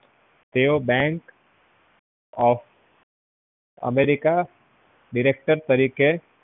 તેઓ bank of america director તરીકે